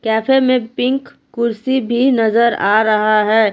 Cafe में pink कुर्सी भी नजर आ रहा है।